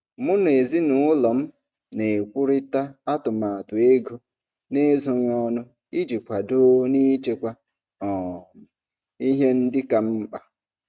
Mụ na ezinụlọ m na-ekwurịta atụmatụ ego n'ezoghị ọnụ iji kwadoo n'ichekwa um ihe ndị ka mkpa.